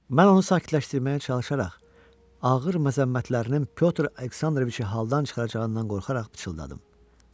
Mən onu sakitləşdirməyə çalışaraq, ağır məzəmmətlərinin Pyotr Aleksandroviçi haldan çıxaracağından qorxaraq pıçıldadım.